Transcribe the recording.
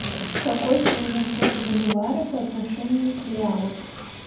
какой сегодня курс боливара по отношению к реалу